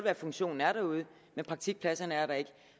at funktionen er derude men praktikpladserne er der ikke